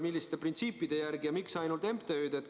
Milliste printsiipide järgi valitakse ja miks ainult MTÜ-d?